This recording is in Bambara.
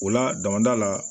O la damada la